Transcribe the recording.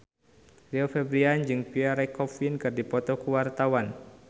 Rio Febrian jeung Pierre Coffin keur dipoto ku wartawan